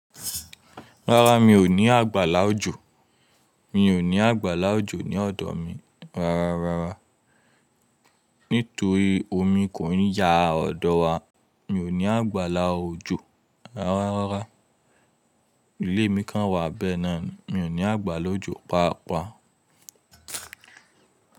Rárá, mi ò ní àgbàlá òjò. Mi ò ní àgbàlá òjò ní ọ̀dọ̀ mi rárá rárá. Nítorí omi kò ń ya ọ̀dọ̀ wa. Mi ò ní àgbàlá òjò rárá. Ilé mi kan wà bẹ́ẹ̀ náà ni. Mi ò ní àgbàlá òjò páà páà.